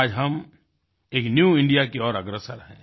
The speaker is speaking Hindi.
आज हम एक न्यू इंडिया की ओर अग्रसर हैं